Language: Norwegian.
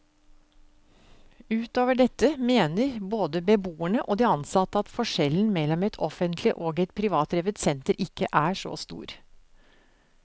Utover dette mener både beboerne og de ansatte at forskjellen mellom et offentlig og et privatdrevet senter ikke er så stor.